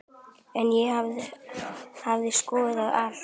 En ég hefði skoðað allt.